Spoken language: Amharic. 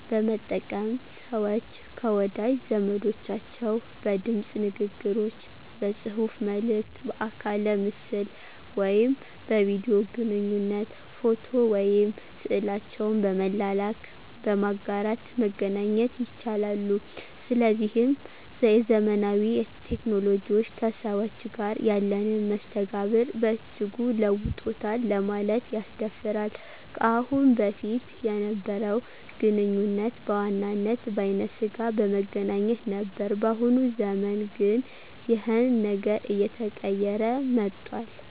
በመጠቀም ሰወች ከወዳጅ ዘመዶቻቸው በድምጽ ንግግሮች፥ በጽሁፋ መልክት፥ በአካለ ምስል ወይም በቪዲዮ ግንኙነት፥ ፎቶ ወይም ስዕላቸውን በመላላክ፣ በማጋራት መገናኘት ይቻላሉ። ስለዚህም የዘመናዊ ቴክኖሎጂዎች ከሰዎች ጋር ያለንን መስተጋብር በእጅጉ ለውጦታል ለማለት ያስደፍራል። ከአሁን በፊት የነበረው ግንኙነት በዋናነት በአይነ ስጋ በመገናኘት ነበር በአሁኑ ዘመን ግን ይኸን ነገር አየተቀየረ መጧል።